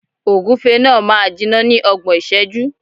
Ògúfe náà máa jiná ní ọgbọ̀n ìṣẹ́jú.